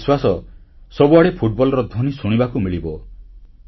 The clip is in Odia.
ମୋର ବିଶ୍ୱାସ ସବୁଆଡ଼େ ଫୁଟବଲର ଧ୍ୱନି ଶୁଣିବାକୁ ମିଳିବ